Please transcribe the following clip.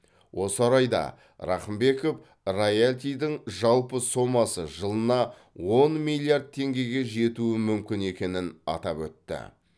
осы орайда рақымбеков роялтидің жалпы сомасы жылына он миллиард теңгеге жетуі мүмкін екенін атап өтті